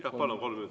Jah, palun!